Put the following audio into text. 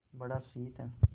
बड़ा शीत है